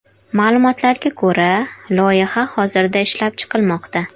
Ma’lumotlarga ko‘ra, loyiha hozirda ishlab chiqilmoqda.